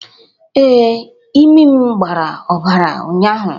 Ee, imi'm gbara obara ụnyahụ